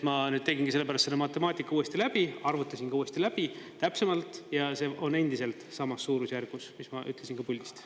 Ma tegingi selle pärast selle matemaatika uuesti läbi, arvutasin uuesti läbi täpsemalt ja see on endiselt samas suurusjärgus, mis ma ütlesin puldist.